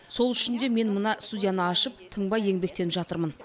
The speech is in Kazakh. сол үшін де мен мына студияны ашып тынбай еңбектеніп жатырмын